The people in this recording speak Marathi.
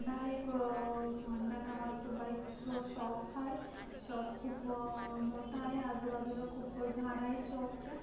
होंडा नावाच बाइक्स चा शॉप्स आहे शॉप खुप आ मोठा आहे आजु बाजूल खुप झाड आहेत शॉप च्या.